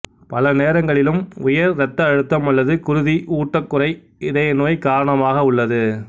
பல நேரங்களிலும் உயர் இரத்த அழுத்தம் அல்லது குருதி ஊட்டக்குறை இதய நோய் காரணமாக உள்ளது